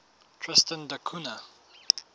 tristan da cunha